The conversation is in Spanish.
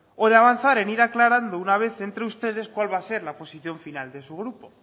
o de avanzar en ir aclarando de una vez entre ustedes cuál va a ser la posición final de su grupo